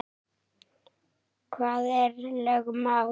Hvað eru lögmál?